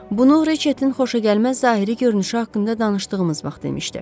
Bunu Reçetin xoşagəlməz zahiri görünüşü haqqında danışdığımız vaxt demişdi.